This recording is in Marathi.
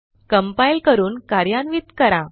कंपाइल करून कार्यान्वित करा